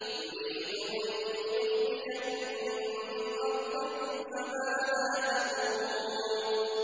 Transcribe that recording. يُرِيدُ أَن يُخْرِجَكُم مِّنْ أَرْضِكُمْ ۖ فَمَاذَا تَأْمُرُونَ